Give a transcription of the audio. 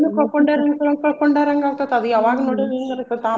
ಕಳ್ಕೊಂಡಾರಂಗ್ ಕಳ್ಕೊಂಡಾರಂಗ ಆಗ್ತೇತ್ ಅದ್ ಯಾವಾಗ್ ನೋಡಿವಿ ಹಿಂಗ್ ಅನ್ನಿಸ್ತೇತ್ ಆಮ್ಯಾಗ್.